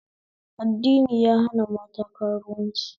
Addini ya hana mata karuwanci